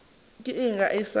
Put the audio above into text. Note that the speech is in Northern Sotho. ke eng ge a sa